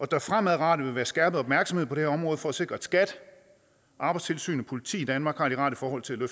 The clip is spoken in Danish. der fremadrettet vil være skærpet opmærksomhed på det her område for at sikre at skat arbejdstilsynet og politiet i danmark har de rette forhold til at